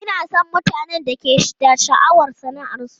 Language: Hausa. Ina son mutanen da ke da sha'awar sana'arsu.